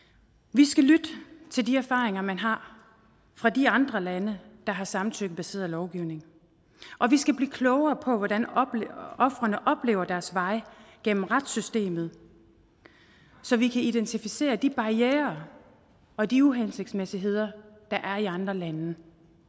vi skal lytte til de erfaringer man har fra de andre lande der har samtykkebaseret lovgivning og vi skal blive klogere på hvordan ofrene oplever deres vej gennem retssystemet så vi kan identificere de barrierer og de uhensigtsmæssigheder der er i andre lande